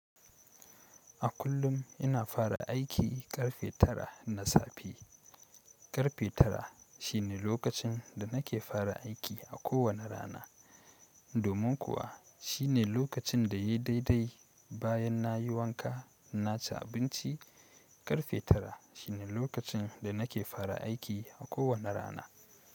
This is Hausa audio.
A kullum ina fara aiki ƙarfe tara na safe. Ƙarfe tara shi ne lokacin da nake fara aiki a kowane rana. Domin kuwa shi ne lokacin da ya yi daidai bayan na yi wanka na ci abinci. Ƙarfe tara shi ne lokacin da nake fara aiki a kowane rana.